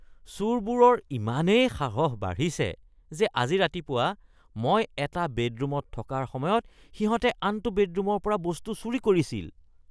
চোৰবোৰৰ ইমানেই সাহস বাঢ়িছে যে আজি ৰাতিপুৱা মই এটা বেডৰুমত থকাৰ সময়ত সিহঁতে আনটো বেডৰুমৰ পৰা বস্তু চুৰি কৰিছিল। (নাগৰিক)